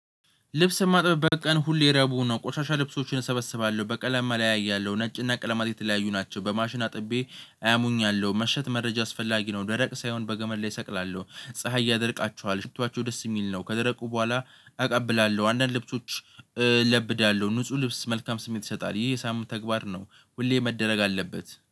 ልብስ የማጥበብ በቀን ሁሌ ረቡ ነው ቆሻሻ ልብሶችን እሰበስባለሁ በቀለማ ላይ አለያያለሁ ነጭና ቀለማት የተለያዩ ናቸው በማሽን አጥቤ አያሙኛለሁ መሸት መረጃ አስፈላጊ ነው። ደረቅ ሳይሆን በገመድ ላይ እሰቅላለሁ ፀሀይ ያደርቃችኋለሁ ሽቷቸው ደስ የሚል ነው። ከደረቁ በኋላ አቀብላለሁ አንዳንድ ልብሶች እለብዳለሁ ንጹህ ልብስ መልካም ስሜት ይሰጣል። ይሄ የሳምንት ተግባር ነው። ሁሌ መደረግ አለበት